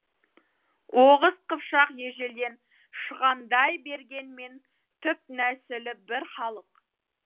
оғыз қыпшақ ежелден шығандай бергенмен түп нәсілі бір халық